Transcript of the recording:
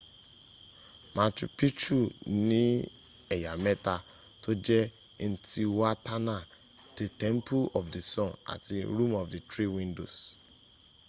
machu picchu ní ẹ̀yà mẹ́ta tó jẹ́ intihuatana te temple of the sun àti room of the three windows